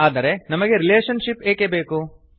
ಆದರೆ ನಮಗೆ relationship ಏಕೆ ಬೇಕು